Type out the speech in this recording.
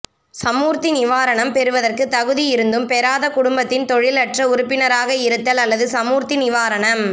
சமூர்த்தி நிவாரணம் பெறுவதற்கு தகுதி இருந்தும் பெறாத குடும்பத்தின் தொழிலற்ற உறுப்பினராக இருத்தல் அல்லது சமூர்த்தி நிவாரணம்